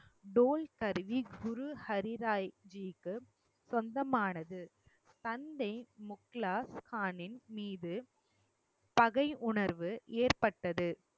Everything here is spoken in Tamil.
டோல் கருவி குரு ஹரி ராய் ஜிக்கு சொந்தமானது தந்தை முக்லாகானின் மீது பகையுணர்வு ஏற்பட்டது